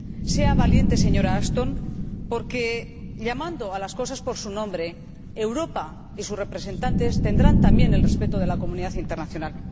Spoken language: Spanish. Sea valiente, señora Ashton, porque llamando a las cosas por su nombre, Europa y sus representantes tendrán también el respeto de la comunidad internacional.